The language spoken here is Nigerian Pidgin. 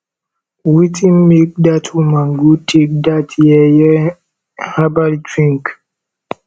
wetin make dat woman go take that yeye herbal drink